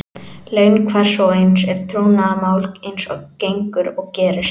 Laun hvers og eins er trúnaðarmál eins og gengur og gerist.